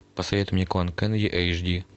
посоветуй мне клан кеннеди эйч ди